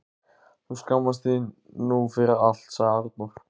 Þú skammast þín nú fyrir allt, sagði Arnór.